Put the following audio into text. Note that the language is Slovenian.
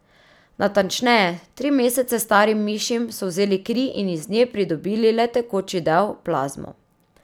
Natančneje, tri mesece starim mišim so vzeli kri in iz nje pridobili le tekoči del, plazmo.